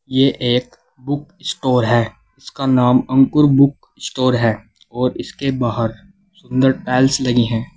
ये एक book store है उसका नाम अंकुर बुक स्टोर है और इसके बाहर सुंदर टाइल्स लगी है।